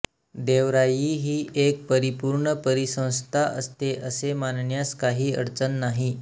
देवराई ही एक परिपूर्ण परिसंस्था असते असे मानण्यास काही अडचण नाही